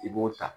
I b'o ta